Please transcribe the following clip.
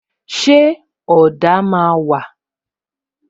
Ṣé ọ̀dà máa wà?